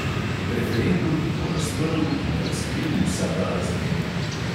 Referendum bo razprl in razkril vsa ta razmerja.